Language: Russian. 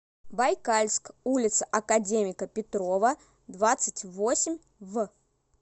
байкальск улица академика петрова двадцать восемь в